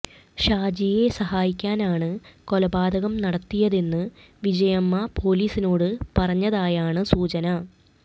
ഷാജിയെ സഹായിക്കാനാണ് കൊലപാതകം നടത്തിയതെന്ന് വിജയമ്മ പോലീസിനോട് പറഞ്ഞതായാണ് സൂചന